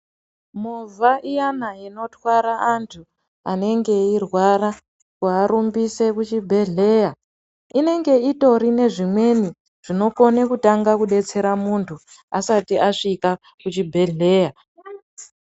Movha iyana inotwara vantu vanenge eirwara kuarumbisa kuenda kuchibhedhleya, inenge itori nezvimweni zvinokone kudetsere muntu asati asvika kuchibhedhleya.